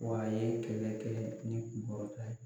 Wa a ye kɛlɛ kɛ ni kunkɔrɔta ye.